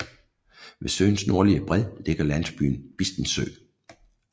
Ved søens nordlige bred ligger landsbyen Bistensø